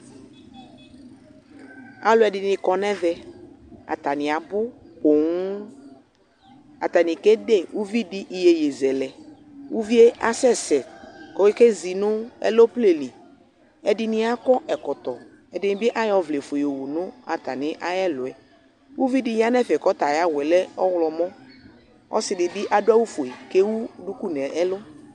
Alʊɛdɩnɩ kɔnʊ ɛvɛ atanɩ abʊ poo atanɩ kede uvidi iyeye zɛlɛ uvie asɛsɛ kʊ ekezinu ɛmoplenlɩ ɛdɩnɩ akɔ ɛkɔtɔ ɛdɩnɩbɩ ayɔ ɔvlɛfue yɔwʊ nʊ ɛlʊ uvidi yanʊ ɛfɛ kʊ ayʊ awʊyɛ lɛ ɔwlɔmɔ ɔsɩdɩbɩ adʊ awufue kʊ ewu duku nʊ ɛlʊ